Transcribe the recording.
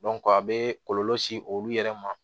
a bɛ kɔlɔlɔ se olu yɛrɛ ma